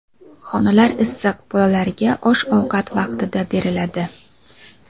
Xonalari issiq, bolalarga osh-ovqat vaqtida beriladi.